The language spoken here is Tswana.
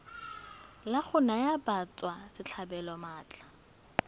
la go naya batswasetlhabelo maatla